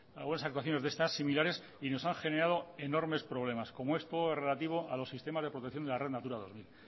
algunas actuaciones de estas similares y nos han generado enormes problemas como es todo lo relativo a los sistemas de protección de la red natura dos mil